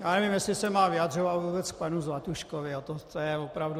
Já nevím, jestli se mám vyjadřovat vůbec k panu Zlatuškovi, to už je opravdu...